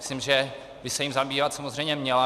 Myslím, že by se jím zabývat samozřejmě měla.